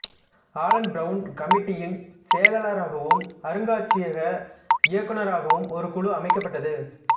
Alan Brown கமிட்டியின் செயலாளராகவும் அருங்காட்சியக இயக்குநராகவும் ஒரு குழு அமைக்கப்பட்டது